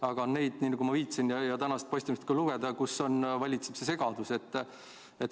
Aga on ka neid, nagu ma viitasin ja nagu võib ka tänasest Postimehest lugeda, kus valitseb segadus.